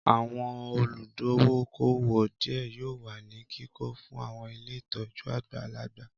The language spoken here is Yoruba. Àwọn olùdókóówò díẹ̀ yóò wà ní kíkọ fún àwọn ilé ìtọ́jú àgbàlagbà